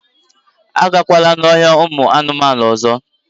A gakwala n'ọhịa ụmụ anụmanụ ọzọ!